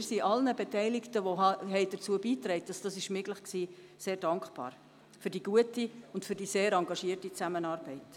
Wir sind allen Beteiligten, die dazu beitrugen, dass dies möglich wurde, sehr dankbar für die gute und sehr engagierte Zusammenarbeit.